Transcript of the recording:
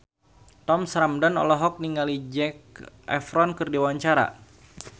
Thomas Ramdhan olohok ningali Zac Efron keur diwawancara